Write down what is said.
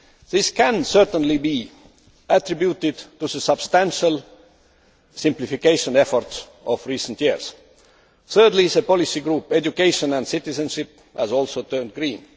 This can certainly be attributed to the substantial simplification efforts of recent years. Thirdly, the policy group entitled education and citizenship' has also become green.